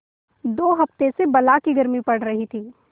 दो हफ्ते से बला की गर्मी पड़ रही थी